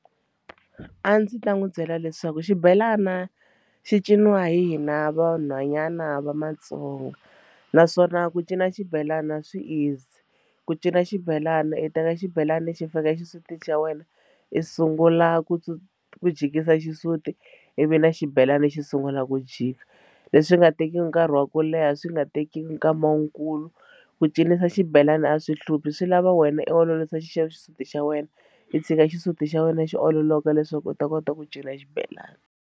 A ndzi ta n'wi byela leswaku xibelani xi ciniwa hi hina vanhwanyana va Matsonga naswona ku cina xibelana swi easy ku cina xibelana i teka xibelani xi fika exisutini xa wena i sungula ku ku jikisa xisuti ivi na xibelani lexi sungulaka ku jika leswi nga tekiki nkarhi wa ku leha swi nga tekiki nkama wukulu ku cinisa xibelani a swi hluphi swi lava wena i olovisa xisuti xa wena i tshika xisuti xa wena xi ololoka leswaku u ta kota ku cina xibelana.